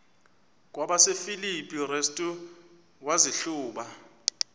kwabasefilipi restu wazihluba